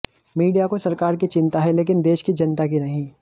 media को सरकार की चिंता है लेकिन देश की जनता की नहीं